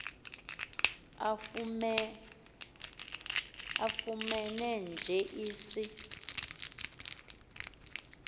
afumene nje isi